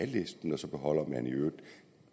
listen og så beholder man i øvrigt